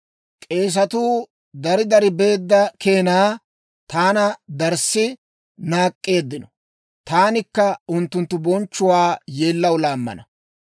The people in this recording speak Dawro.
«K'eesetuu dari dari beedda keenaa, taana darssi naak'k'eeddino; taanikka unttunttu bonchchuwaa yeellaw laammana.